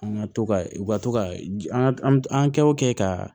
An ka to ka u ka to ka an an kɛ o kɛ ka